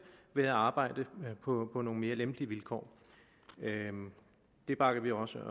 ved at arbejde på nogle mere lempelige vilkår det bakker vi også